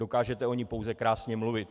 Dokážete o ní pouze krásně mluvit.